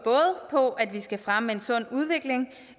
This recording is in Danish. på at vi skal fremme en sund udvikling